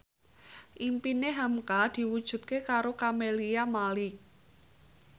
impine hamka diwujudke karo Camelia Malik